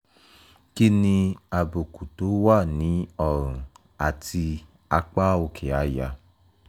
kí ni àbùkù tó wà ní ọrùn àti apá òkè àyà?